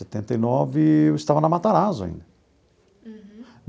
Setenta e nove, eu estava na Matarazzo ainda. Uhum.